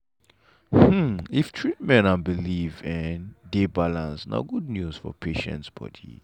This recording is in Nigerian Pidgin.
hmm if treatment and belief en dey balance na good news for patient body.